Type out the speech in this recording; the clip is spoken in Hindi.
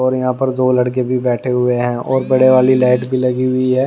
और यहां पर दो लड़के भी बैठे हुए हैं और बड़े वाली लाइट भी लगी हुई है।